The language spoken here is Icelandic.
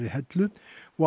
Hellu og